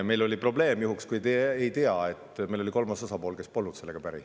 Meil oli probleem – ütlen juhuks, kui te ei tea –, et meil oli kolmas osapool, kes polnud sellega päri.